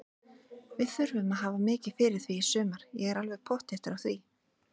Við þurfum að hafa mikið fyrir því í sumar, ég er alveg pottþéttur á því.